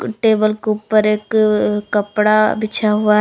Table के ऊपर एक अ अ कपड़ा बिछा हुआ है।